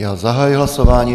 Já zahajuji hlasování.